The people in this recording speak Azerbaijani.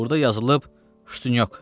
Burada yazılıb ştunyok.